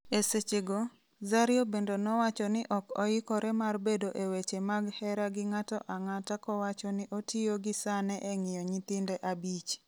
esechego, Zario bende nowacho ni ok oikore mar bedo e weche mag hera gi ng'ato ang'ata kowacho ni otiyo gi sane eng'iyo nyithinde abich